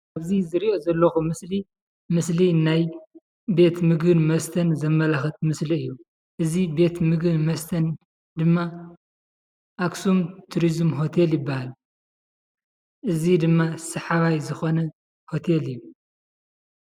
እዚ ዝሪኦ ዘለኹ ምስሊ፡- ምስሊ ናይ ቤት ምግቢን መስተን ዘመላክት ምስሊ እዩ፡፡ እዚ ቤት ምግቢን መስተን ድማ አክሱም ቱሪዝም ሆቴል ይበሃል፡፡ እዚ ድማ ሰሓባይ ዝኮነ ሆቴል እዩ፡፡